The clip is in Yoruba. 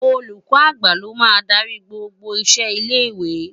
Ólúkò ágbá ló má n dàri gbógbó iṣé ilé iwé